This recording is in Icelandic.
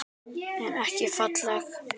En ekki falleg.